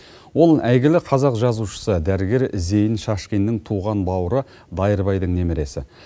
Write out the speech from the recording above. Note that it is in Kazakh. ол әйгілі қазақ жазушысы дәрігер зейін шашкиннің туған бауыры дайырбайдың немересі